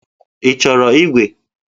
Ị chọrọ ígwè?